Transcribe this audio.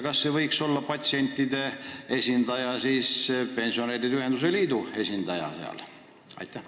Kas ei võiks patsientide esindajana seal olla siis pensionäride ühenduste liidu esindaja?